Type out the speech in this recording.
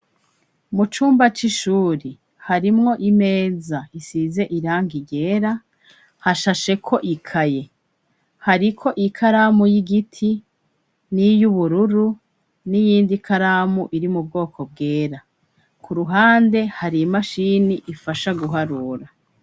Mucumba c'ishuri harimwo imeza isize irangi ryera, hashasheko ikaye, hariko ikaramu y'igiti, niy'ubururu, n'iyindi ikaramu iri mu bwoko bwera, k'uruhande hari imashini ifasha guharura.